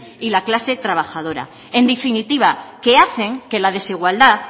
y la clase trabajadora en definitiva hacen que la desigualdad